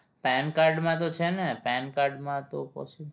pan card માં તો છે ને pan card માં તો possible